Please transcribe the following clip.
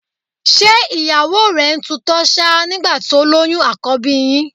Ṣé ìyàwó rẹ ń tutọ́ ṣáá nígbà tó lóyún àkọ́bí yín?